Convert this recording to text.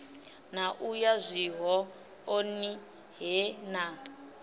na u yazwihoḓoni he na